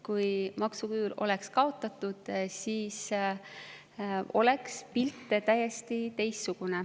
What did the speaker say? Kui maksuküür oleks kaotatud, siis oleks pilt täiesti teistsugune.